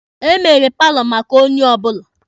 Emere paalọ maka onye ọbụla.